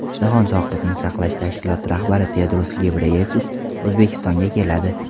Jahon sog‘liqni saqlash tashkiloti rahbari Tedros Gebreyesus O‘zbekistonga keladi.